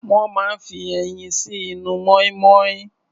Wọ́n máa ń fi ẹyin sí inú mọ́ínmọ́ín.